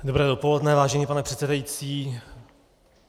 Dobré dopoledne, vážený pane předsedající.